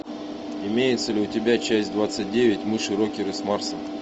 имеется ли у тебя часть двадцать девять мыши рокеры с марса